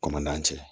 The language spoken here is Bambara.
Kɔn man ca